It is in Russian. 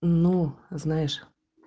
ну знаешь